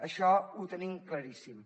això ho tenim claríssim